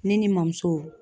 Ne ni n bamuso